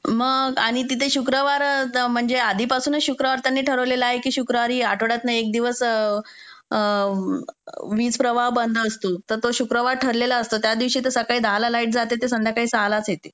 मग, आणि तिथे शुक्रवार म्हणजे आधीपासूनच शुक्रवार त्यांनी ठरवलेलं आहे की शुक्रवारी आठवड्यातनं एक दिवस त्यांनी आधीपासूनच वीज प्रवाह बंद असतो. तर तो शुक्रवारी ठरलेला असतो, त्या दिवशी सकाळी दहाला लाईट जाते तर संध्याकाळी सहालाच येते.